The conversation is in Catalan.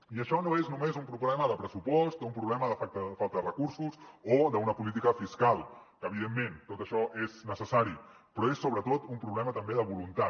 i això no és només un problema de pressupost o un problema de falta de recursos o d’una política fiscal que evidentment tot això és necessari però és sobretot un problema també de voluntat